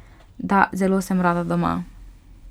Da, zelo sem rada doma.